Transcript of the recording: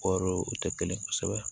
Kɔɔri o tɛ kelen ye kosɛbɛ